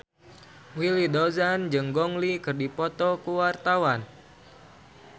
Willy Dozan jeung Gong Li keur dipoto ku wartawan